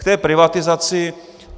K té privatizaci.